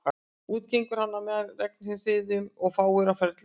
Úti gengur hann á með regnhryðjum og fáir á ferli utan